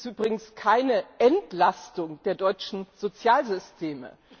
Das ist übrigens keine Entlastung der deutschen Sozialsysteme.